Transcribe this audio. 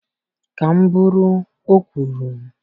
Ka m bụrụ, o kwuru